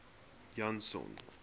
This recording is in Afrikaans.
janson